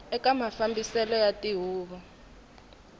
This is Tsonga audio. eka mafambiselo ya tihuvo ta